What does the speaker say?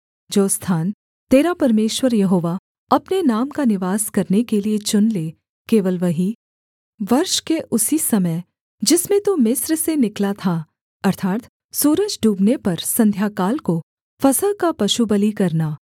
जो स्थान तेरा परमेश्वर यहोवा अपने नाम का निवास करने के लिये चुन ले केवल वहीं वर्ष के उसी समय जिसमें तू मिस्र से निकला था अर्थात् सूरज डूबने पर संध्याकाल को फसह का पशुबलि करना